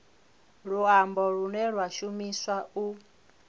luambo lune lwa shumiswa u